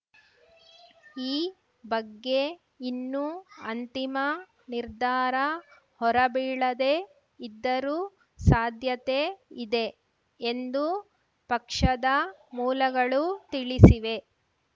ಈ ಬಗ್ಗೆ ಇನ್ನೂ ಅಂತಿಮ ನಿರ್ಧಾರ ಹೊರಬೀಳದೇ ಇದ್ದರೂ ಸಾಧ್ಯತೆ ಇದೆ ಎಂದು ಪಕ್ಷದ ಮೂಲಗಳು ತಿಳಿಸಿವೆ